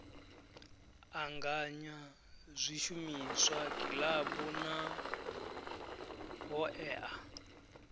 anganya zwishumiswa kilabu na hoea